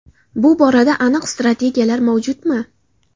Bu borada aniq strategiyalar mavjudmi?